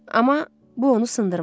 Amma bu onu sındırmadı.